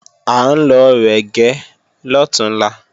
À ń lọ rẹ̀gẹ́ lọ̀túnla